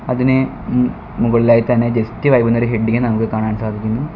അതിനെ മ് മുകളിലായി തന്നെ ജസ്റ്റ് വൈബ് എന്നൊരു ഹെഡിങ് നമുക്ക് കാണാൻ സാധിക്കുന്നു.